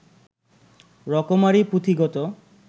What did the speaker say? রকমারি পুঁথি কত